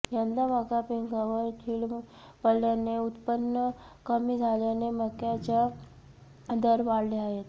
यंदा मका पिकांवर कीड पडल्याने उत्पन्न कमी झाल्याने मक्याचा दर वाढले आहेत